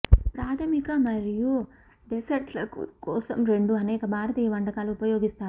ప్రాథమిక మరియు డెసెర్ట్లకు కోసం రెండు అనేక భారతీయ వంటకాలు ఉపయోగిస్తారు